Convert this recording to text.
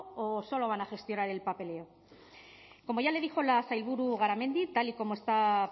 o solo van a gestionar el papeleo como ya le dijo la sailburu garamendi tal y como está